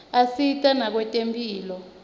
asita nakwetemphilo